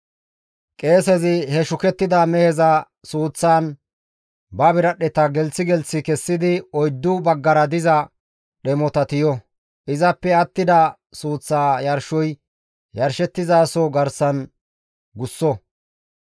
Qeesezi he shukettida meheza suuththan ba biradhdheta gelththi gelththi kessidi oyddu baggara diza dhemota tiyo; izappe attida suuththa yarshoy yarshettizasoza garsan gusso.